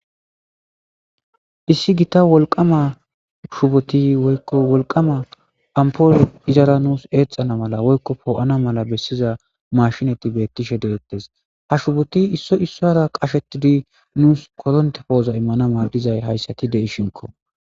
issi gita wolqama shuboti woykko wolqama ampol izara nuus eexana mala woykko poo7ana mala bessiza mashinati beettishe deettes ha shuboti isso issora qashetidi nuus koronte pooza immana maadizay hayssati deishinko